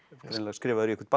skrifaður í eitthvert